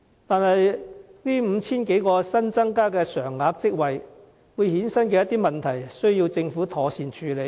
可是，這 5,000 多個新增加常額職位會衍生的問題，亦需要政府妥善處理。